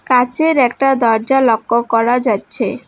কাঁচের একটা দরজা লক্ষ্য করা যাচ্ছে।